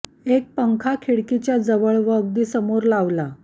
एक पंखा खिडकीच्या जवळ व अगदी समोर लावला